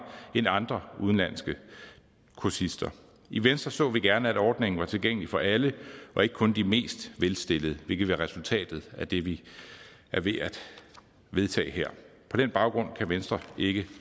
end andre udenlandske kursister i venstre så vi gerne at ordningen var tilgængelig for alle og ikke kun de mest velstillede hvilket vil være resultatet af det vi er ved at vedtage her på den baggrund kan venstre ikke